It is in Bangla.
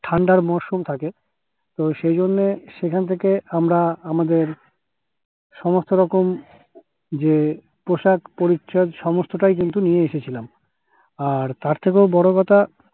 ঠান্ডার মাশরুম থাকে তো সেইজন্য সেখান থেকে আমরা আমাদের সমস্ত রকম যে পোশাক পরিচ্ছদ সমস্তটাই কিন্তু নিয়ে এসেছিলাম আর তার থেকেও বোরো কথা